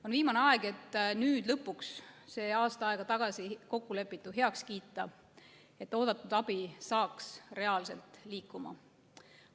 On viimane aeg, et nüüd lõpuks see aasta aega tagasi kokkulepitu heaks kiita, et oodatud abi saaks hakata reaalselt liikuma.